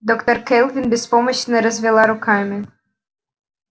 доктор кэлвин беспомощно развела руками